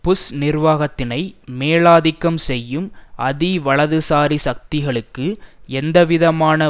push நிர்வாகத்தினை மேலாதிக்கம் செய்யும் அதிவலதுசாரி சக்திகளுக்கு எந்தவிதமான